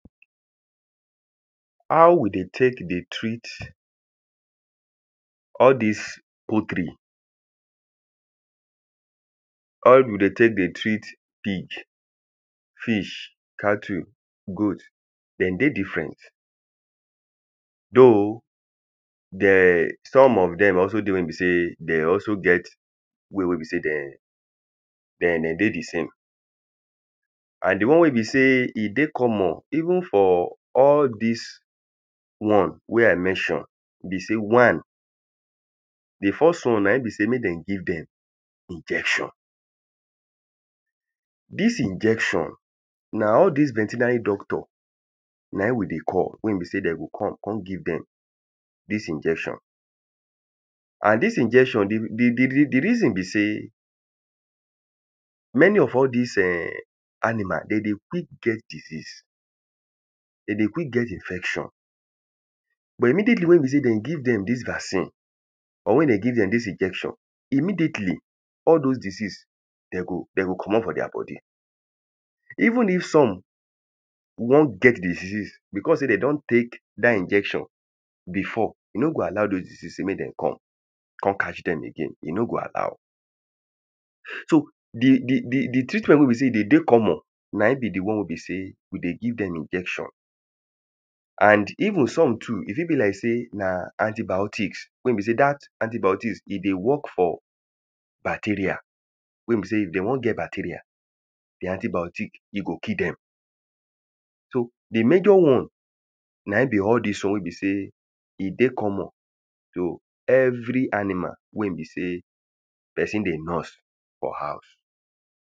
how we dey take dey treat all dis poultry how we dey take dey treat pig fish, cattle, goat den dey different though de um some of dem also dey wey be sey de also get way wey be sey dem de den dey the same and the one wey be sey he dey common even for all dis one wey i mention be sey, one, the first one na in be sey me dem give dem injection dis injection na all dis veterinary doctor na in we dey call, wey he be sey dem go come, con give dem dis injection and dis injection the the, the, the reason be sey many of all dis [ehn] animal, dem dey quick get disease dem dey quick get infection but immediately wey he be sey dem give dem dis vaccine or wey dem give dem dis injection immediately all dose disease de go de go comot for deir body even if some wan get the disease because sey dem don take dat injection before he no go allow dose disease sey mek dem come con catch dem again, he no go allow so the the the treatment wey be sey he de dey common na in be the one wey be sey we dey give dem injection and even some too, he fi be like sey na antibiotics wey be sey dat antibiotics he dey work for bacteria wey be sey if dem wan get bacteria the antibiotic he go kill dem so the major one na in be all dis one wey be sey he dey common to every animal wey be sey person dey nurse for house